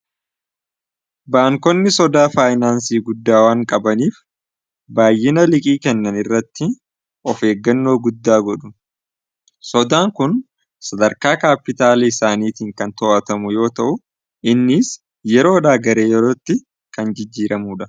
Baankonni sodaa faayinaansii guddaa waan qabaniif baayyina liqii kennan irratti of eeggannoo guddaa godhu. Sodaan kun sadarkaa kaapitaalii isaaniitiin kan to'atamu yoo ta'u innis yeroodha gara yerootti kan jijjiiramuudha.